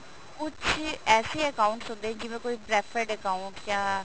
ਕੁੱਝ ਏਸੇ accounts ਹੁੰਦੇ ਨੇ ਜਿਵੇਂ ਕੋਈ preferred account ਜਾਂ